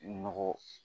Nɔgɔ